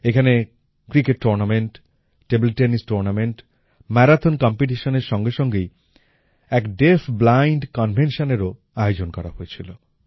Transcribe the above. এখানে cricket tournament table tennis tournament marathon competition এর সঙ্গে সঙ্গেই এক ডেফব্লাইন্ড Conventionএরও আয়োজন করা হয়েছিল